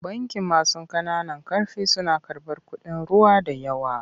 Bankin masu ƙananan ƙarfi suna karɓar kuɗin ruwa da yawa.